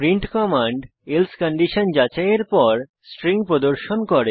print command এলসে condition যাচাইয়ের পর স্ট্রিং প্রদর্শন করে